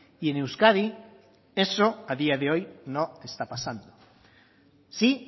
y en euskadi eso a día de hoy no está pasando sí